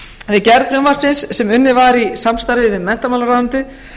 við gerð frumvarpsins sem unnið var í samstarfi við menntamálaráðuneytið